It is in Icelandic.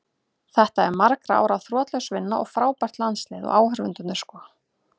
Þetta er margra ára þrotlaus vinna og frábært landslið, og áhorfendur sko.